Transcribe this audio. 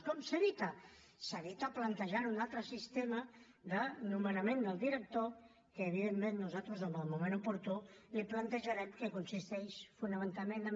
com s’evita s’evita plantejant un altre sistema de nomenament del director que evidentment nosaltres en el moment oportú li ho plantejarem que consisteix fonamentalment en